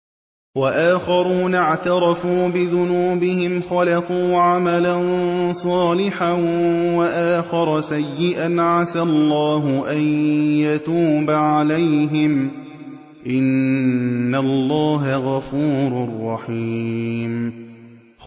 وَآخَرُونَ اعْتَرَفُوا بِذُنُوبِهِمْ خَلَطُوا عَمَلًا صَالِحًا وَآخَرَ سَيِّئًا عَسَى اللَّهُ أَن يَتُوبَ عَلَيْهِمْ ۚ إِنَّ اللَّهَ غَفُورٌ رَّحِيمٌ